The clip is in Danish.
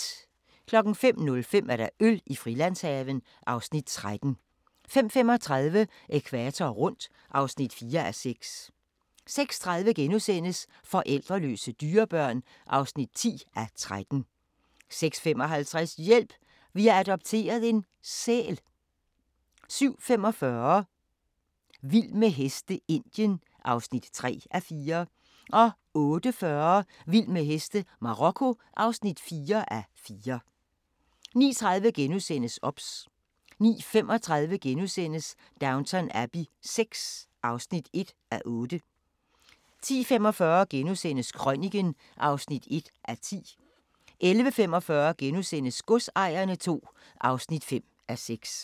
05:05: Øl i Frilandshaven (Afs. 13) 05:35: Ækvator rundt (4:6) 06:30: Forældreløse dyrebørn (10:13)* 06:55: Hjælp! Vi har adopteret en - sæl 07:45: Vild med heste - Indien (3:4) 08:40: Vild med heste - Marokko (4:4) 09:30: OBS * 09:35: Downton Abbey VI (1:8)* 10:45: Krøniken (1:10)* 11:45: Godsejerne II (5:6)*